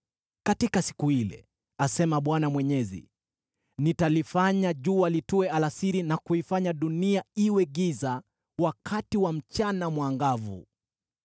“Katika siku ile,” asema Bwana Mwenyezi, “Nitalifanya jua litue alasiri na kuifanya dunia iwe giza wakati wa mchana mwangavu.